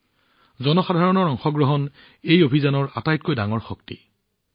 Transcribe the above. এই জনসাধাৰণৰ অংশগ্ৰহণ এই অভিযানৰ আটাইতকৈ ডাঙৰ শক্তি